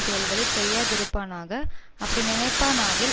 செயல்களை செய்யாதிருப்பானாக அப்படி நினைப்பானாகில்